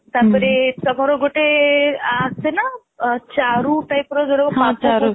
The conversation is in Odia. ତାପରେ ଟମାର ଗୋଟେ ଆସେନା ଚାରୁ typeର କହନ୍ତି ଚାରୁ